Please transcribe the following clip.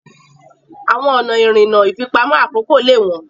Àwọn ọ̀nà ìrìnnà ìfipamọ́ àkókò lè wọ́n.